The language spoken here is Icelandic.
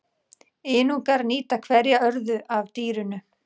Inúkar nýta hverja örðu af dýrinu.